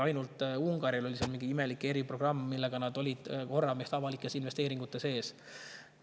Ainult Ungaril oli mingi imelik eriprogramm, mille tõttu nad olid meist avalike investeeringute poolest korra ees.